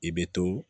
I bɛ to